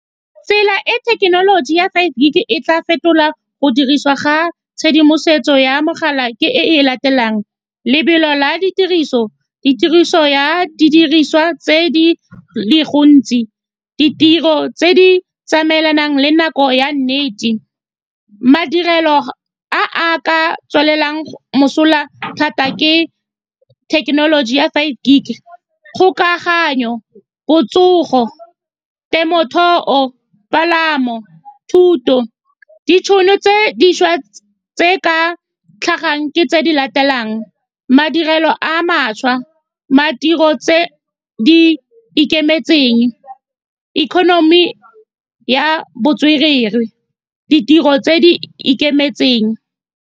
Tsela e thekenoloji ya five gig e tla fetola go dirisiwa ga tshedimosetso ya mogala ke e e latelang lobelo la ditiriso, ditiriso ya didiriswa tse di gontsi, ditiro tse di tsamaelanang le nako ya nnete. Madirelo a a ka tswelelang mosola thata ke thekenoloji ya five gig kgokaganyo, botsogo, temothuo, palamo, thuto, ditšhono tse dišwa . Tse di ka tlhagang ke tse di latelang, madirelo a mašwa tse di ikemetseng, economy ya botswerere, ditiro tse di ikemetseng.